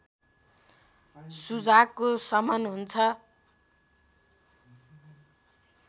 सुजाकको शमन हुन्छ